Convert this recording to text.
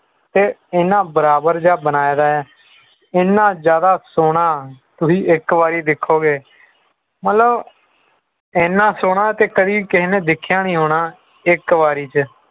ਤੇ ਇਨ੍ਹਾਂ ਬਰਾਬਰ ਜਿਹਾ ਬਣਾਇਦਾ ਹੈ ਇਹਨਾਂ ਜ਼ਿਆਦਾ ਸੋਹਣਾ ਤੁਸੀਂ ਇਕ ਵਾਰੀ ਦੇਖੋਗੇ ਮਤਲਬ ਇਹਨਾਂ ਚੋਣਾਂ ਤੇ ਕਦੀ ਵੀ ਕਿਸੇ ਨੇ ਦੇਖਿਆ ਨਹੀਂ ਹੋਣਾ ਇਕ ਵਾਰੀ ਚ